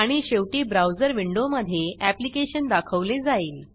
आणि शेवटी ब्राऊजर विंडोमधे ऍप्लीकेशन दाखवले जाईल